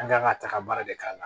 An kan ka taga baara de k'a la